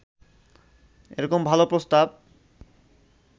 এরকম ভালো প্রস্তাব